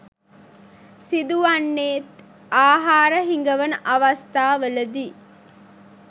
සිදු වන්නේත් ආහාර හිඟවන අවස්ථා වලදී.